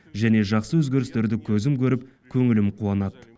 және жақсы өзгерістерді көзім көріп көңілім қуанады